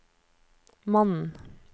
mannen